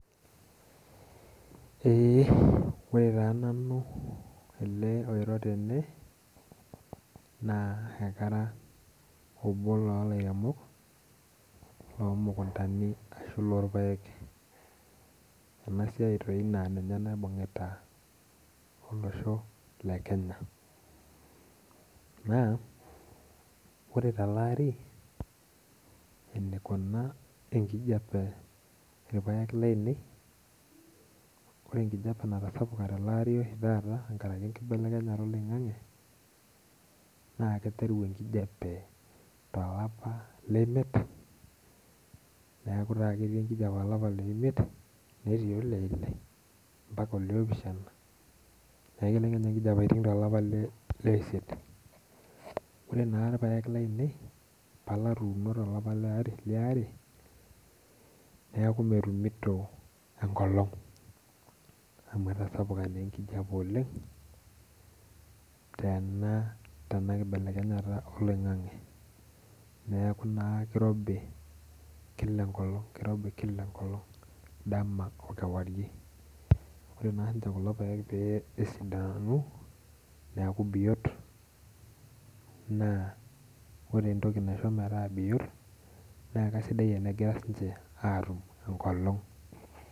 Eee, ore taa nanu ale oiro tene naa kara obo loo ilairemok lo mukuntani ashu loo irpaek. Ana siai doi naa ninye naibung'ita olosho le Kenya, naa kore te ale ari eneikuna enkijepe irpaek laine, kore enkijepe natasapuka te ale lari taata tengaraki enkibelekenyata eloing'ang'e naa keiteru enkijepe te ilapa le imiet, neaku taa ketii enkijepe olapa3le imiet neitoki le ile mpaka oloopishana, nelo Kenya inkijepe aiting' te le isiet. Ore naa irpaek lainei natuuno te aleari naaku metumunto enkolong amu etasapuka naa enkijepe oleng tena nkibelekenyata eloing'ang'e, naaku naa keirobi kila enkolong, dama okewairie, kore naa sii kulo irpaek pee esidanu obiot naa kore entoki naisho metaa biot naa kesidai ana kengas ninche atum enkolong.